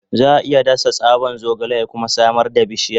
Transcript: Za a iya dasa tsaban zogale ya kuma samar da bishiya.